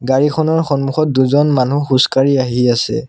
গাড়ীখনৰ সন্মুখত দুজন মানুহ খোজকাঢ়ি আহি আছে।